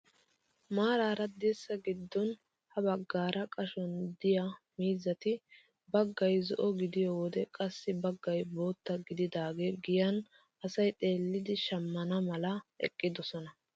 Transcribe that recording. Maarara dirssaa giddon ha baggaara qashshuwaan de'iyaa mizati baggay zo'o gidiyoo wode qassi baggay bootta gididaage giyan asay xeellidi shammana mala eqqidosona.